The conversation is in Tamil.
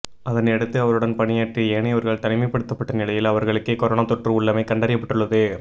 அதனையடுத்து அவருடன் பணியாற்றிய ஏனையவர்கள் தனிமைப்படுத்தப்பட்ட நிலையில் அவர்களுக்கே கொரோனா தொற்று உள்ளமை கண்டறியப்பட்டுள்ளது